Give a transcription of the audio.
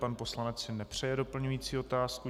Pan poslanec si nepřeje doplňující otázku.